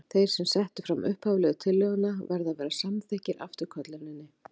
Þeir sem settu fram upphaflegu tillöguna verða að vera samþykkir afturkölluninni.